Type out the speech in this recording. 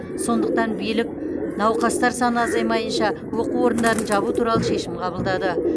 сондықтан билік науқастар саны азаймайынша оқу орындарын жабу туралы шешім қабылдады